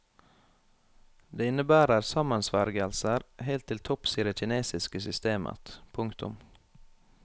Det innebærer sammensvergelser helt til topps i det kinesiske systemet. punktum